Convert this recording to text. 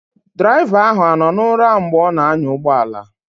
Draịva ahụ anọ na ụra mgbe ọ na anya ụgbọala?